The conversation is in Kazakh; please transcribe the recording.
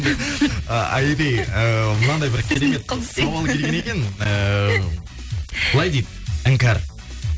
айри ыыы мынандай бір керемет сауал келген екен ыыы былай дейді іңкәр